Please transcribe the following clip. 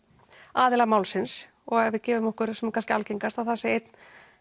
aðila málsins og ef við gefum okkur það sem er algengast einn